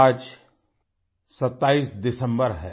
आज 27 दिसम्बर है